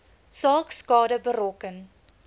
saak skade berokken